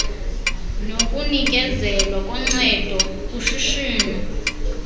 nokunikezelwa koncedo kushishino